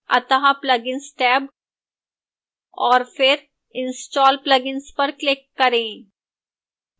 अतः plugins tab और फिर install plugins पर click करें